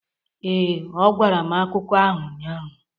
Ee, ọ gwara m akụkọ ahụ ụnyahụ.